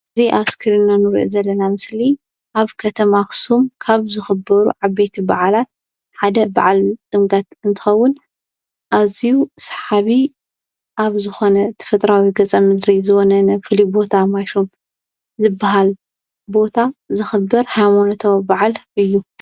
እዚ ኣብ ስክሪና ንሪኦ ዘለና ምስሊ ኣብ ከተማ ኣክሱም ካብ ዝኽበሩ ዓበይቲ በዓላት ሓደ በዓል ጥምቀት እንትኸውን ኣዝዩ ሰሓቢ ኣብ ዝኾነ ተፈጥራዊ ገፀምድሪ ዝወነነ ፍሉይ ቦታ ማይሹም ዝበሃል ቦታ ዝኽበር ሃይማኖታዊ በዓል እዩ